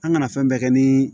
An kana fɛn bɛɛ kɛ ni